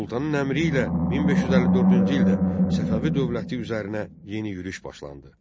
Sultanın əmri ilə 1554-cü ildə Səfəvi dövləti üzərinə yeni yürüş başlandı.